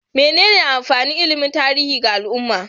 Menene amfanin ilimin tarihi ga al'umma?